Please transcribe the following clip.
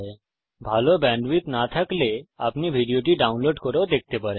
যদি ভাল ব্যান্ডউইডথ না থাকে তাহলে আপনি ভিডিওটি ডাউনলোড করে দেখতে পারেন